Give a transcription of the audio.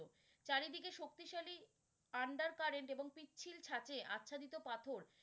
চারিদিকে শক্তিশালী under current এবং পিচ্ছিল ছাচে আচ্ছাদিত পাথর।